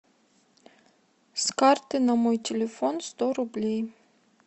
с карты на мой телефон сто рублей